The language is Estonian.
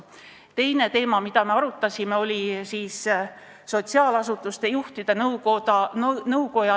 Teine teema, mida me arutasime, oli sotsiaalasutuste juhtide nõukoja ettepanek.